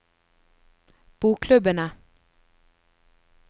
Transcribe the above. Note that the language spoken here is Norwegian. bokklubbene